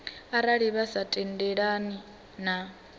arali vha sa tendelani na